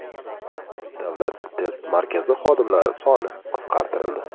Davlat test markazi xodimlari soni qisqartirildi.